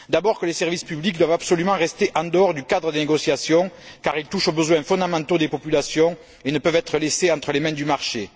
Tout d'abord, les services publics doivent absolument rester en dehors du cadre des négociations car ils touchent aux besoins fondamentaux des populations et ne peuvent être laissés entre les mains du marché.